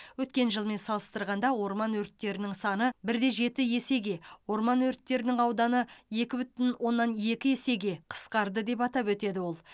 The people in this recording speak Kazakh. өткен жылмен салыстырғанда орман өрттерінің саны бір де жеті есеге орман өрттерінің ауданы екі бүтін оннан екі есеге қысқарды деп атап өтеді ол